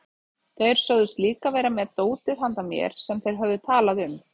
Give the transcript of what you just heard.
Þeir sögðust líka vera með dótið handa mér sem þeir höfðu talað um.